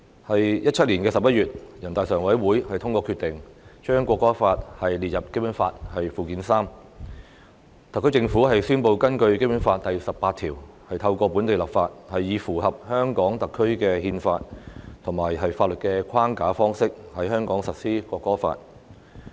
在2017年11月，人大常委會通過決定，將《國歌法》列入《基本法》附件三，特區政府宣布根據《基本法》第十八條，透過本地立法，以符合香港特區的憲法及法律的框架方式在香港實施《國歌法》。